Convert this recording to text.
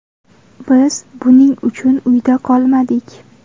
Biz buning uchun uyda qolmadik.